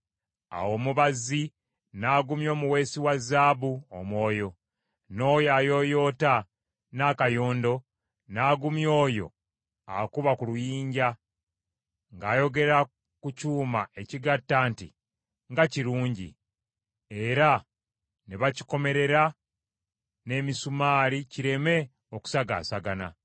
Awo omubazzi n’agumya omuweesi wa zaabu omwoyo, n’oyo ayooyoota n’akayondo n’agumya oyo akuba ku luyijja ng’ayogera ku kyuma ekigatta nti, “Nga kirungi,” era ne bakikomerera n’emisumaali kireme okusagaasagana.